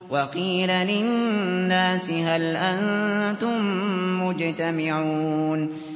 وَقِيلَ لِلنَّاسِ هَلْ أَنتُم مُّجْتَمِعُونَ